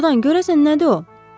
Doğurdan, görəsən nədir o?